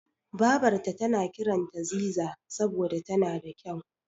Babarta tana kiranta Ziza saboda tana da kyau.